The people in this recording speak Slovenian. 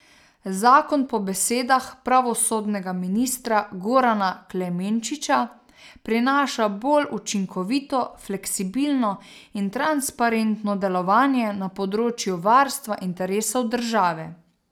Zakon po besedah pravosodnega ministra Gorana Klemenčiča prinaša bolj učinkovito, fleksibilno in transparentno delovanje na področju varstva interesov države.